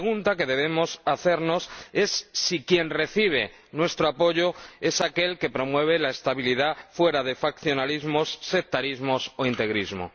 La pregunta que debemos hacernos es si quien recibe nuestro apoyo es aquel que promueve la estabilidad fuera de faccionalismos, sectarismos o integrismo.